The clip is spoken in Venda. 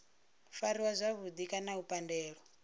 fariwa zwavhudi kana u pandelwa